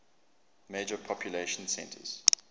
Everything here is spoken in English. major population centers